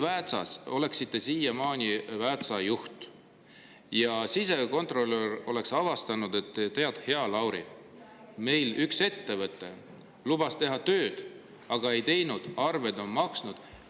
Näiteks, kui te oleksite siiamaani Väätsa juht ja sisekontrolör oleks midagi sellist avastanud: "Tead, hea Lauri, meil üks ettevõte lubas tööd teha, aga ei teinud, ja arved on makstud.